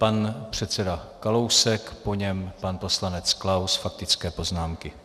Pan předseda Kalousek, po něm pan poslanec Klaus faktické poznámky.